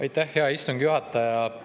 Aitäh, hea istungi juhataja!